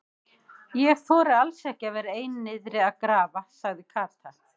Ég þori alls ekki að vera ein niðri að grafa sagði Kata.